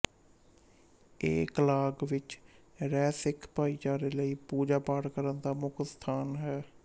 ਇਹ ਕਲਾਂਗ ਵਿੱਚ ਰਹਿ ਸਿੱਖ ਭਾਈਚਰੇ ਲਈ ਪੂਜਾ ਪਾਠ ਕਰਨ ਦਾ ਮੁੱਖ ਸਥਾਨ ਹੈ